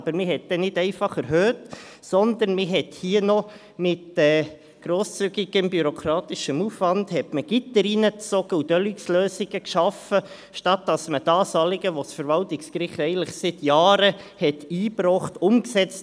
Aber man hat nicht einfach erhöht, sondern man hat hier noch mit grosszügigem bürokratischem Aufwand Gitter hineingezogen und «Deluxe-Lösungen» gewählt, anstatt das Anliegen, welches das Verwaltungsgericht vor Jahren eingebracht hat, umzusetzen.